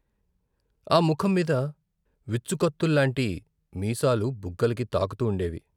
ఆ ముఖంమీద విచ్చు కత్తుల్లాంటి మీసాలు బుగ్గలకి తాకుతూ ఉండేవి.